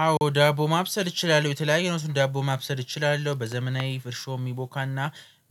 አዎ ዳቦ ማብሰል እችላለሁ የተለያዩ አይነት ዳቦ ማብሰል እችላለሁ። በዘመናዊ እርሾ የሚቦካና